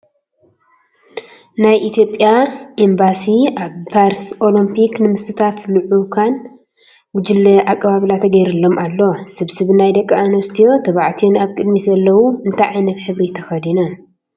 ናይ ኢትዮጵያ ኤምባሲ ኣብ ፓርስ ኦሎምፕክ ንምስታፍ ልዑካን ጉጅለ ኣቀባብላ ተገይርሎም ኣሎ ስብስብ ናይ ደቂ ኣነስትዮን ተባዕትዮን ኣብቅድሚት ዘለው እንታይ ዓይነት ሕብሪ ተከዲኖም?